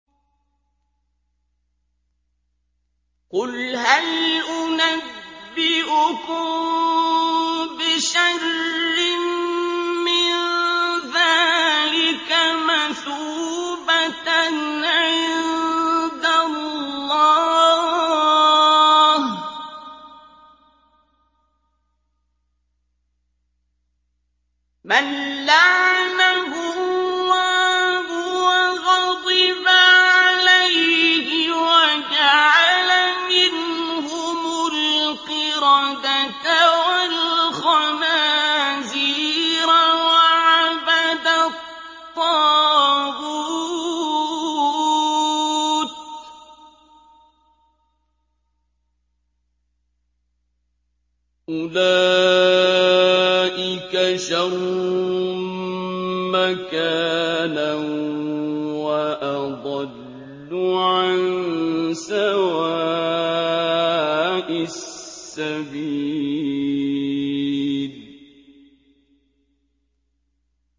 قُلْ هَلْ أُنَبِّئُكُم بِشَرٍّ مِّن ذَٰلِكَ مَثُوبَةً عِندَ اللَّهِ ۚ مَن لَّعَنَهُ اللَّهُ وَغَضِبَ عَلَيْهِ وَجَعَلَ مِنْهُمُ الْقِرَدَةَ وَالْخَنَازِيرَ وَعَبَدَ الطَّاغُوتَ ۚ أُولَٰئِكَ شَرٌّ مَّكَانًا وَأَضَلُّ عَن سَوَاءِ السَّبِيلِ